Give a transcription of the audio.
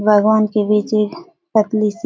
बागान के बीच एक पतली सी --